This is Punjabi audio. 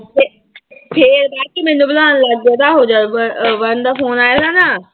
ਫਿਰ ਆ ਕੇ ਮੈਨੂੰ ਬੁਲਾਉਣ ਲੱਗ ਹੋ ਜਾਊਗਾ ਬਰਨ ਦਾ phone ਆਏਗਾ ਨਾ,